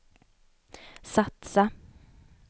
satsa